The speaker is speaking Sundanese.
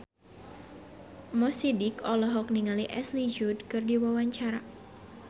Mo Sidik olohok ningali Ashley Judd keur diwawancara